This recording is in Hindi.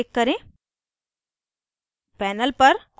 ok button पर click करें